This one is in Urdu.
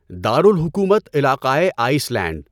دارالحکومت علاقهٔ آئس لینڈ